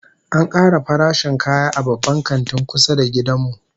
An kara farashin kaya a Babban Kantin kusa da gidan mu